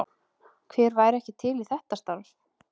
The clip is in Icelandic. Hver væri ekki til í þetta starf?